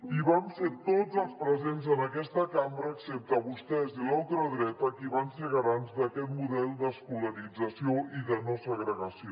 i vam ser tots els presents en aquesta cambra excepte vostès i la ultradreta qui van ser garants d’aquest model d’escolarització i de no segregació